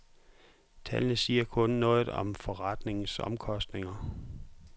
Tallene siger kun noget om forretningens omkostninger.